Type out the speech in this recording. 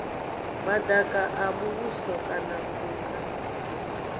madaka a muvhuso kana phukha